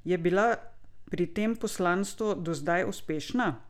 Je bila pri tem poslanstvu do zdaj uspešna?